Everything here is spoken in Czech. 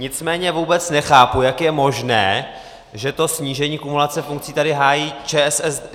Nicméně vůbec nechápu, jak je možné, že to snížení kumulace funkcí tady hájí ČSSD...